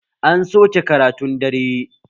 An soke karatun dare